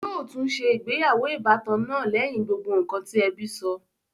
Yóò tún se ìgbéyàwó ìbátan náà lẹ́yìn gbogbo ǹkan tí ẹbí sọ